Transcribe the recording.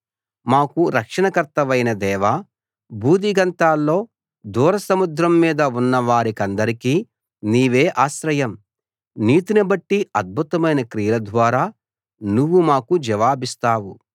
మాకు రక్షణకర్తవైన దేవా భూదిగంతాల్లో దూర సముద్రం మీద ఉన్న వారికందరికీ నీవే ఆశ్రయం నీతిని బట్టి అద్భుతమైన క్రియల ద్వారా నువ్వు మాకు జవాబిస్తావు